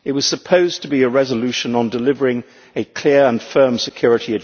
it was supposed to be a resolution on delivering clear and firm security.